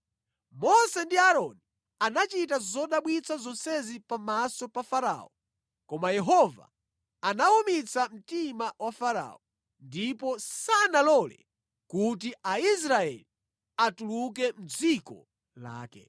Mose ndi Aaroni anachita zodabwitsa zonsezi pamaso pa Farao koma Yehova anawumitsa mtima wa Farao, ndipo sanalole kuti Aisraeli atuluke mʼdziko lake.